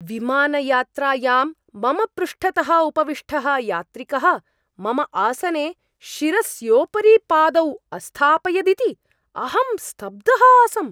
विमानयात्रायां मम पृष्ठतः उपविष्टः यात्रिकः मम आसने शिरस्योपरि पादौ अस्थापयदिति अहं स्तब्धः आसम्।